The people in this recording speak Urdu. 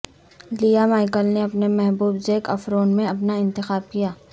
لیہ مائیکل نے اپنے محبوب زیک افروان میں اپنا انتخاب کیا